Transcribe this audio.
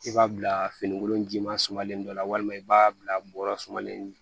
I b'a bila finikolon ji ma sumalen dɔ la walima i b'a bila bɔrɔ sumalen